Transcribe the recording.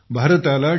भारताला टी